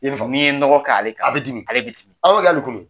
N'i ye nɔgɔ k'ale kan ale bɛ dimi awƆkƐ ali kunu